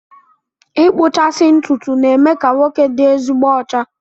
Ịkpụchasị ntụtụ na-eme ka nwoke dị ezigbo ọcha